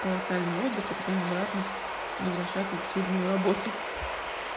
колоссальный отдыха потом обратно возвращаться в сильную работу